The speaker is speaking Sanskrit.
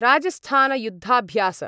राजस्थानयुद्धाभ्यास